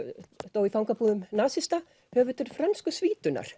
dó í fangabúðum nasista höfundur Frönsku